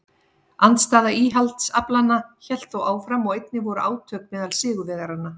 Andstaða íhaldsaflanna hélt þó áfram og einnig voru átök meðal sigurvegaranna.